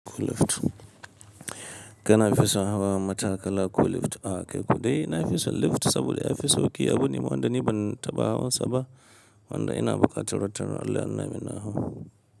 Ko lift? Kana fison hawa matakala ko lift? A kai ko dai na fison lift saboda ya fi sau ki abuna ma wanda ni ban taɓa hawa saba. Wanda ina bukata wata ran Allah ya nuna min na hau.